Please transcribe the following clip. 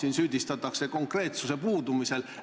Siin süüdistatakse konkreetsuse puudumise pärast.